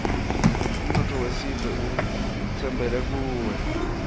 umnotfo wesive utsembele kuwe